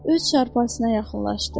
Öz çarpayısına yaxınlaşdı.